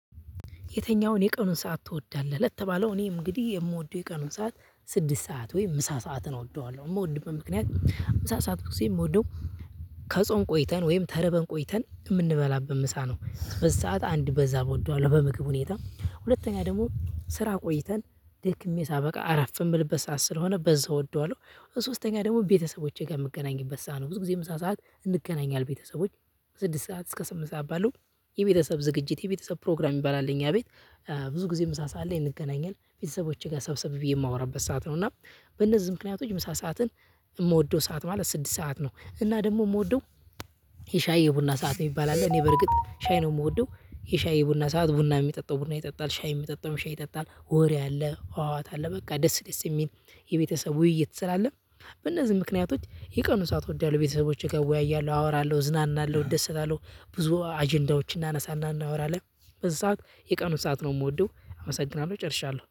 የተኛውን የቀኑን ሰዓት ትወዳለህ ለተባለው እኔ እንግዲህ የምወደው የቀኑን ሰዓት ስድስት ሰዓት ወይም ምሳ ሰዓትን እወደዋለሁ የምወድበት ምክንያት ምሳ ሰዓት ጊዜ የምወደው ከጾም ቆይተን ወይም ተርበን ቆይተን የምንበላበት ምሳ ነው። በዚ ሰዓት አንድ በዛም እወደዋለሁ በምግብ ሁኔት ሁለተኛ ደግሞ ስራ ቆይተን ደክሜ ሳበቃ አረፍ የምልበት ሰዓት ስለሆነ በዛ እወደዋለሁ። በሶስተኛ ደግሞ ቤተሰቦቼ ጋር የምገናኝበት ሰዓት ነው። ብዙ ጊዜ ምሳ ሰዓት እንገናኛለን ቤተሰቦች። ስድስት ሰዓት እስከ ስምንት ሰዓት ባለው የቤተሰብ ዝግጅት የቤተሰብ ፕሮግራም ይባላል። እኛ ቤት ብዙ ጊዜ ምሳ ሰዓት ላይ እንገናኛለን ቤተሰቦቼ ጋር ሰብሰብ ብዬ የምወራበት ሰዓት ነው። እና በነዚ ምክንያቶች ምሳ ሰዓትን እምወደው ሰዓት ማለት ስድስት ሰዓት ነው። እና ደግም እምወደው። የሻይ የቡና ሰዓት እሚባል አለ። እኔ በርግጥ ሻይ ነው የምወደው። የሻይ የቡና ሰዓት ቡና የሚጠጣው ቡና ይጠጣል ሻይ የሚጠጣው ሻይ ይጠጣል ወሬ አለ አዋት አለ በቃ ደስ ደስ የሚል። የቤተሰቡ ውይይት ስላለ። በእነዚህ ምክንያቶች የቀኑ ሰዓት እወዳለሁ ቤተሰቦቼ ጋር እወያያለሁ አወራለሁ ዝናናለሁ እደሰታለሁ። ብዙ አጀንዳዎችን እናነሳና እናወራለን። በዚ ሰዓት የቀኑን ሰዓት ነው የምወደው። አመሰግናለሁ ጨርሻለሁ